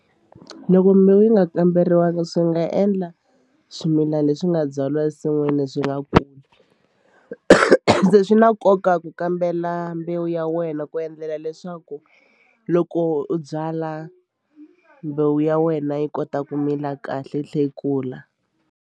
Loko mbewu yi nga kamberiwangi swi nga endla swimilana leswi nga byariwa ensin'wini swi nga kuli se swi na nkoka ku kambela mbewu ya wena ku endlela leswaku loko u byala mbewu ya wena yi kota ku mila kahle yi tlhe yi kula.